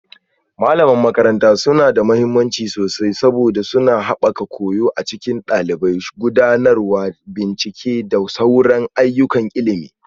Malaman makaranta suna da mahimmanci sosai saboda suna haɓaka koyo a cikin ɗalibai, gudanar da bincike da sauran ayyukan ilimi